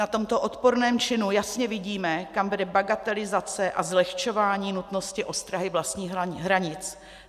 Na tomto odporném činu jasně vidíme, kam vede bagatelizace a zlehčování nutnosti ostrahy vlastních hranic.